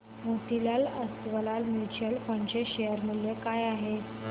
Motilal Oswal mutual fund चे share मूल्य काय आहे सांगा